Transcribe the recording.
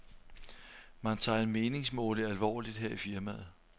Man tager en meningsmåling alvorligt her i firmaet.